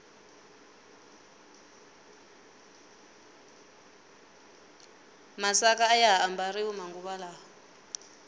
masaka ayaha ambariwa manguva lawa